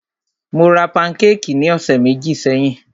Mó rá pankékì ní ọ̀sẹ̀ méjì sẹ́yìn.